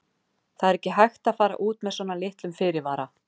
Það er ekki hægt að fara út með svona litlum fyrirvara.